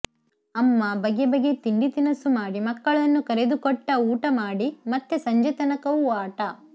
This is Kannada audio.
ಅಮ್ಮ ಬಗೆ ಬಗೆ ತಿಂಡಿ ತಿನಸು ಮಾಡಿ ಮಕ್ಕಳನ್ನು ಕರೆದು ಕೊಟ್ಟ ಊಟ ಮಾಡಿ ಮತ್ತೆ ಸಂಜೆತನಕವೂ ಆಟ